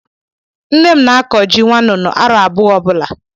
Nnem na-akọ ji nwańnú arọ abua ọ bula